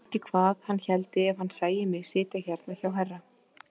Ég veit ekki hvað hann héldi ef hann sæi mig sitja hérna hjá herra!